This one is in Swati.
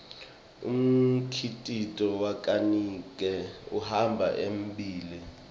umkhicito wakanike uhamba embile